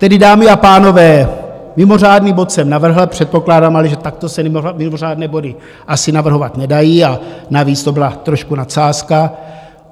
Tedy, dámy a pánové, mimořádný bod jsem navrhl, předpokládám ale, že takto se mimořádné body asi navrhovat nedají, a navíc to byla trošku nadsázka.